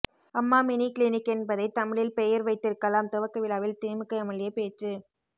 அம்மா mini clinic என்பதை தமிழில் பெயர் வைத்திருக்கலாம் துவக்க விழாவில் திமுக எம்எல்ஏ பேச்சு